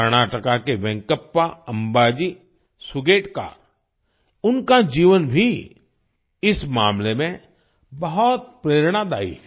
कर्नाटका के वेंकप्पा अम्बाजी सुगेतकर उनका जीवन भी इस मामले में बहुत प्रेरणादायी है